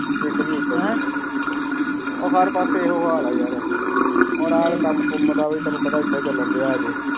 ਪਿੰਡ ਵੀ ਐਡਾ ਉਹ ਹਰ ਪਾਸੇ ਇਹੋ ਹਾਲ ਹੈ ਹੁਣ ਆਈ ਕਾਮ ਕੰਮ ਵੀ ਤੈਨੂੰ ਪਤਾ ਐਡਾ ਚੈਲੇਂ ਦੀਆ ਅਜੇ